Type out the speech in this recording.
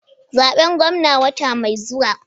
Zaben gwamna wata mai zuwa.